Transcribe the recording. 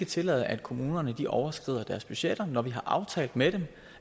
tillade at kommunerne overskrider deres budgetter når vi har aftalt med dem